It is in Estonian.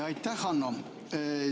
Aitäh, Hanno!